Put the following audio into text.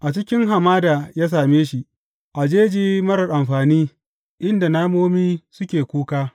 A cikin hamada ya same shi, a jeji marar amfani, inda namomi suke kuka.